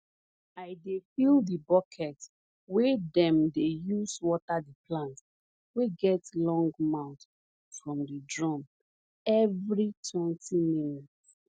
i dey fill di bucket wey dem dey use water di plant wey get long mouth from di drum every twenty minutes